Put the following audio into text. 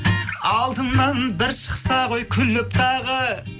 алдымнан бір шықса ғой күліп тағы